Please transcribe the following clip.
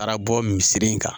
Taara bɔ misi in kan